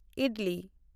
idli